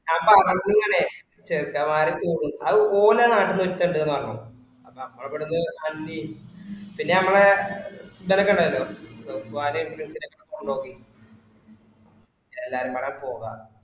ആ അപ്പൊ അവിടുന്ന് ഇങ്ങനെ ചെറുകമാര് പൊകുന് അത് ഓലെ നാട്ടിന്ന് ഒരുത്തൻ ഇണ്ട് പറഞ് അപ്പൊ നമ്മള ഇവിടുന്ന് അൻവിയു പിന്നെ നമ്മളെ ഇന്നല കണ്ടതല്ലെ വെപ്പ്കാരയും friends ഒക്കെ പിന്ന എല്ലാരു പറഞ് പോകാന്